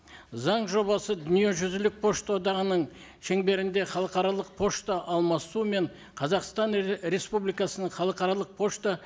заң жобасы дүниежүзілік пошта одағының шеңберінде халықаралық пошта алмасумен қазақстан республикасының халықаралық пошта